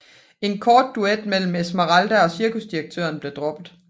En kort duet mellem Esmeralda og cirkusdirektøren blev droppet